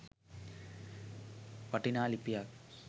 වටිනා ලිපියක්.